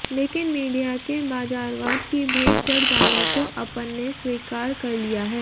लेकिन मीडिया के बाजारवाद की भेंट चढ़ जाने को अपन ने स्वीकार कर लिया है